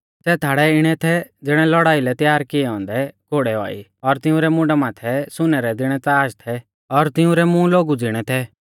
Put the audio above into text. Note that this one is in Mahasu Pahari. सै टिड्डी इणै थै ज़िणै लौड़ाई लै त्यार कियै औन्दै घौड़ै औआ ई और तिंउरै मुंडा माथै सुनै रै ज़िणै ताज़ थै और तिंउरै मूंह लोगु ज़िणै थै